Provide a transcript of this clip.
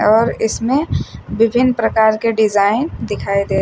और इसमें विभिन्न प्रकार के डिजाइन दिखाई दे--